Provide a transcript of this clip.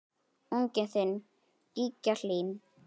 Unginn þinn, Gígja Hlín.